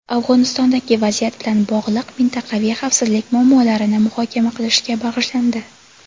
Afg‘onistondagi vaziyat bilan bog‘liq mintaqaviy xavfsizlik muammolarini muhokama qilishga bag‘ishlandi.